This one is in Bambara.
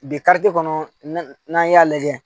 Bi kariti kɔnɔ n'an y'a lajɛ